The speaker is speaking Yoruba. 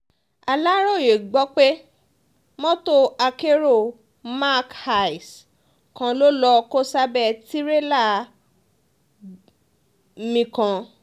aláròye gbọ́ pé mọ́tò akérò mark hiace kan ló lọ́ọ́ kó sábẹ́ tìrẹ̀là bmi kan